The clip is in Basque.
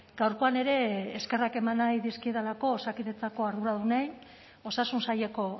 gaurkoan ere eskerrak eman nahi dizkiedalako osakidetzako arduradunei osasun saileko